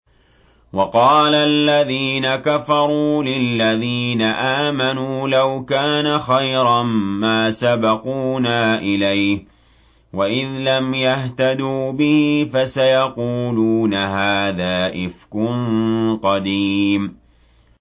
وَقَالَ الَّذِينَ كَفَرُوا لِلَّذِينَ آمَنُوا لَوْ كَانَ خَيْرًا مَّا سَبَقُونَا إِلَيْهِ ۚ وَإِذْ لَمْ يَهْتَدُوا بِهِ فَسَيَقُولُونَ هَٰذَا إِفْكٌ قَدِيمٌ